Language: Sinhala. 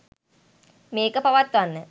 මේක පවත්වන්න.